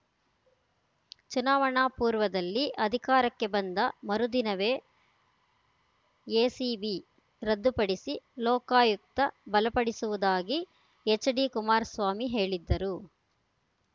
ಚುನಾವಣಾ ಪೂರ್ವದಲ್ಲಿ ಅಧಿಕಾರಕ್ಕೆ ಬಂದ ಮರುದಿನವೇ ಎಸಿಬಿ ರದ್ದುಪಡಿಸಿ ಲೋಕಾಯುಕ್ತ ಬಲಪಡಿಸುವುದಾಗಿ ಎಚ್‌ಡಿ ಕುಮಾರಸ್ವಾಮಿ ಹೇಳಿದ್ದರು